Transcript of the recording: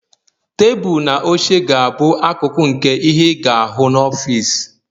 Tebụl na oche ga-abụ akụkụ nke ihe ị ga-ahụ n'ọfịs